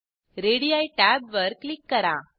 ready tab वर click करा